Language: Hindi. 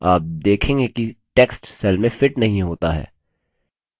आप देखेंगे कि text cell में fit नहीं होता है